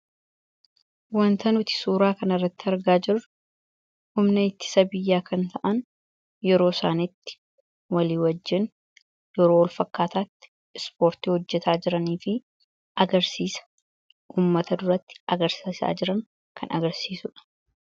Suuraa kanaa gadii irratti kan argamu humna ittisa biyyaa yeroo isaan waliin taa'anii sochii qaamaa gochaa jiranii dha. Isaannis uummata duratti agarsiisaa kan jiranii dha.